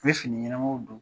N bɛ fini ɲɛnaw don.